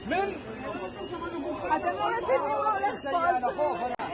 Mən Azərbaycandan danışmaq istəyirəm.